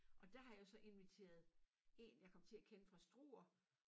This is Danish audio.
Og der har jeg så inviteret en jeg kom til at kende fra Struer